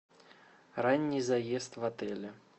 ранний заезд в отеле